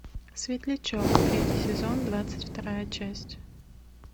светлячок третий сезон двадцать вторая часть